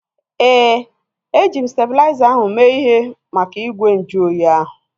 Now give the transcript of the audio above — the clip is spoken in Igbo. Éè, eji m stalizer ahu mee ihe maka igwe nju oyi ahu